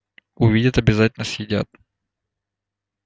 увидят обязательно съедят